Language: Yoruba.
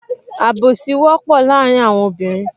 Àbùsí wọ́pọ̀ láàrin àwọn obìnrin